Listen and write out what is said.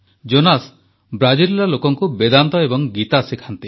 Jonas ବ୍ରାଜିଲର ଲୋକଙ୍କୁ ବେଦାନ୍ତ ଏବଂ ଗୀତା ଶିଖାନ୍ତି